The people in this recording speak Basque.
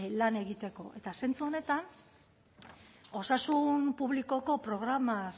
lan egiteko eta zentzu honetan osasun publikoko programaz